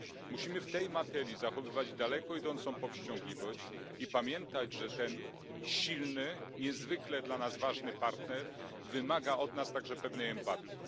Musimy w tej materii zachowywać daleko idącą powściągliwość i pamiętać, że ten silny, niezwykle dla nas ważny partner, wymaga od nas także pewnej empatii.